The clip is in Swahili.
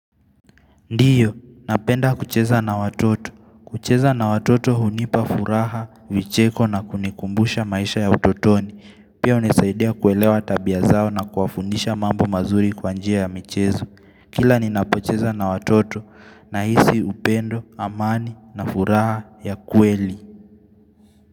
Ndiyo, napenda kucheza na watoto. Kucheza na watoto hunipa furaha, vicheko na kunikumbusha maisha ya utotoni. Pia hunisaidia kuelewa tabia zao na kuwafundisha mambo mazuri kwa njia ya michezo. Kila ninapo cheza na watoto na hisi upendo, amani na furaha ya kweli.